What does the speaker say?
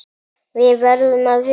Við verðum að vinna.